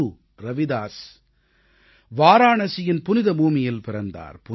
குரு ரவிதாஸ் வாராணசியின் புனித பூமியில் பிறந்தார்